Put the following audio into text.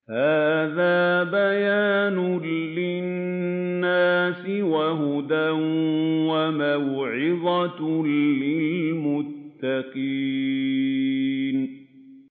هَٰذَا بَيَانٌ لِّلنَّاسِ وَهُدًى وَمَوْعِظَةٌ لِّلْمُتَّقِينَ